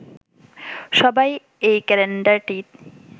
সবাই এই ক্যালেন্ডারটিই